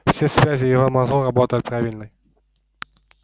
все связи в его мозгу работают правильной